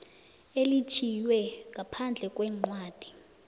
elitjhiywe ngaphandle kwencwadi